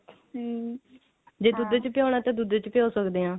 ਹਮ ਹਾਂ